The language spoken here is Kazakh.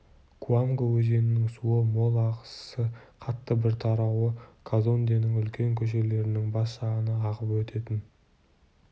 куанго өзенінің суы мол ағысы қатты бір тарауы казонденің үлкен көшелерінің бас жағынан ағып өтетін